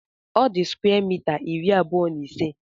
Ọ di square mita iri abuọ na ise